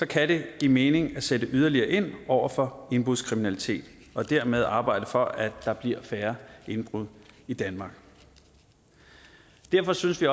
kan det give mening at sætte yderligere ind over for indbrudskriminalitet og dermed arbejde for at der bliver færre indbrud i danmark derfor synes vi